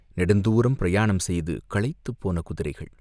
நெடுந்தூரம் பிரயாணம் செய்து களைத்துப் போன குதிரைகள்.